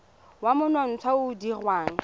wa monontsha o o dirwang